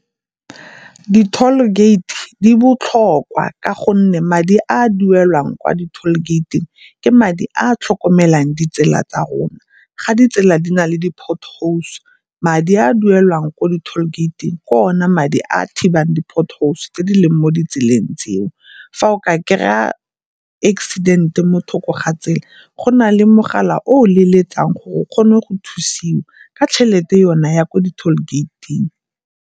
Di-tall gate di botlhokwa ka gonne madi a a duelwang kwa di-tall gate-ing ke madi a a tlhokomelang ditsela tsa rona ga ditsela di na le di-pothole. Madi a duelwang ko di-tall gate-ing ke ona madi a a thibang di-potholes tse di leng mo ditseleng tseo. Fa o ka kry-a accident-e mo thoko ga tsela, go na le mogala o o leletsang gore o kgone go thusiwa ka tšhelete yona ya ko di-tall gate-ing.